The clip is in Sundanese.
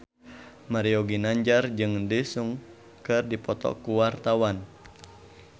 Mario Ginanjar jeung Daesung keur dipoto ku wartawan